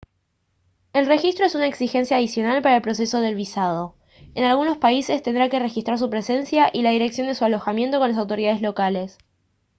el registro es una exigencia adicional para el proceso del visado en algunos países tendrá que registrar su presencia y la dirección de su alojamiento con las autoridades locales